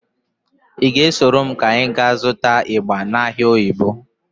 Ị ga-esoro m ka anyị ga zụta ịgba n'ahịa Oyigbo?